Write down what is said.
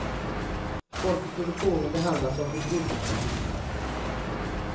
Folk i produktionen behandlas som förbrukningsartiklar.